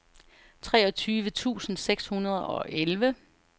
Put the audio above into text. treogtyve tusind seks hundrede og elleve